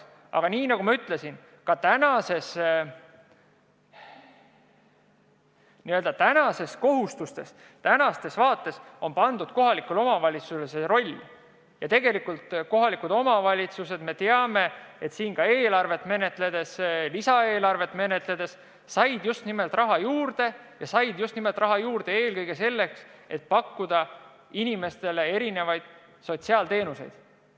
Aga nagu ma ütlesin, ka praegustes kohustustes on kohalikule omavalitsusele see roll pandud ja tegelikult kohalikud omavalitsused lisaeelarve menetlemisega said ka raha juurde ja seda just nimelt eelkõige selleks, et pakkuda inimestele erinevaid sotsiaalteenuseid.